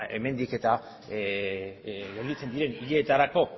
hemendik eta gelditzen diren hilabeterako